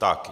Tak.